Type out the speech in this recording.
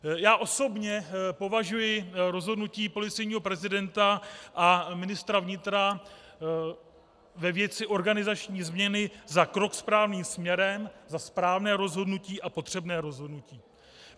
Já osobně považuji rozhodnutí policejního prezidenta a ministra vnitra ve věci organizační změny za krok správným směrem, za správné rozhodnutí a potřebné rozhodnutí.